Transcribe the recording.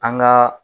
An ka